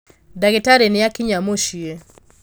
ndagītarī nīakinya mūciī.